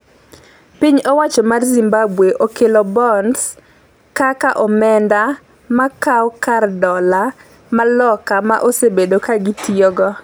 piny owacho mar Zimbabwe okelo bonds kaka omenda makawo kar dola ma Loka ma osebedo ka itiyogo